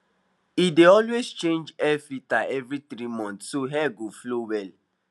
he dey always change air filter every 3months so air go flow wll